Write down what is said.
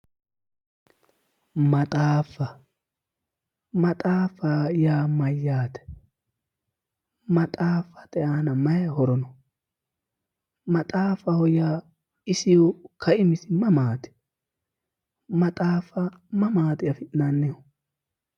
Maxaaffa, maxaaffa yaa mayyaate maxaaffate aana mayi horo no? maxaafaho yaa isiho kaimisi mamaati? maxaaffa mamaati afi'nannihu?